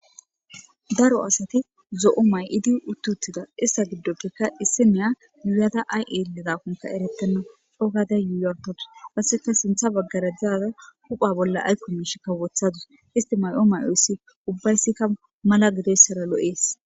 Daro asati zo7o may idi uttuttida issa giddopfekka issi miya muyata ayelidakonka eretana dhogade yuuyorkatus qasseka sintha baggara daaza hupha bolla aykko miish kawothadus istimayo mayoyssi ubbayssikka mala gidessara lo7ees